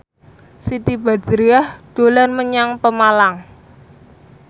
Siti Badriah dolan menyang Pemalang